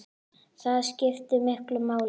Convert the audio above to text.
Það skiptir miklu máli.